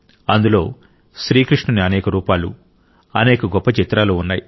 అందులో శ్రీకృష్ణుని అనేక రూపాలు అనేక గొప్ప చిత్రాలు ఉన్నాయి